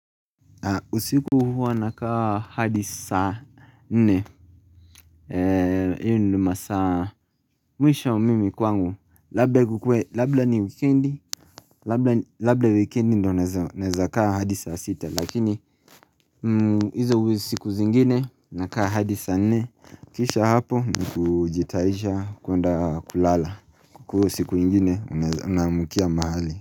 Usiku huwa na kaa hadisa nne hiyo ndo masa. Mwisho mimi kwangu Labla ni wikendi Labla wikendi ndo neza kaa hadisa sita lakini Izo uwezi siku zingine na kaa hadisa nne Kisha hapo nkujitaisha kuonda kulala Kukuu siku ingine unamukia mahali.